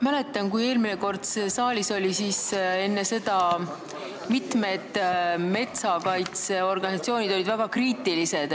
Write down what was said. Ma mäletan, et kui eelmine kord see teema siin saalis oli, siis mitmed metsakaitseorganisatsioonid olid väga kriitilised.